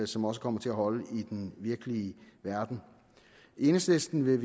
som også kommer til at holde i den virkelige verden enhedslisten vil